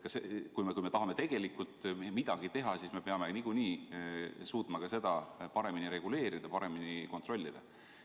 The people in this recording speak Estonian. Kui me tahame tõesti midagi ära teha, siis me peame suutma seda paremini reguleerida, paremini kontrollida.